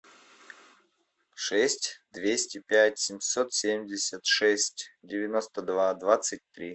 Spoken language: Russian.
шесть двести пять семьсот семьдесят шесть девяносто два двадцать три